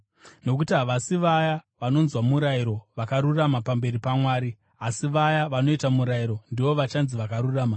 Nokuti havasi vaya vanonzwa murayiro vakarurama pamberi paMwari, asi vaya vanoita murayiro ndivo vachanzi vakarurama.